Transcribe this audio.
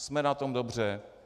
Jsme na tom dobře.